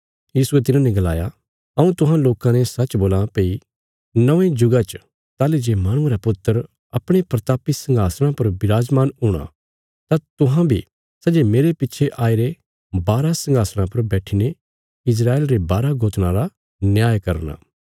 यीशुये तिन्हांने गलाया हऊँ तुहां लोकां ने सच्च बोलां भई नौंये जुगा च ताहली जे माहणुये रा पुत्र अपणे प्रतापी संघासणा पर बिराजमान हूणा तां तुहां बी सै जे मेरे पिच्छे आईरे बारा संघासणां पर बैठीने इस्राएल रे बारा गोत्राँ रा न्याय करना